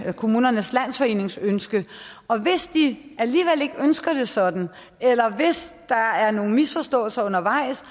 kommunernes landsforenings ønske og hvis de alligevel ikke ønsker det sådan eller hvis der er nogle misforståelser undervejs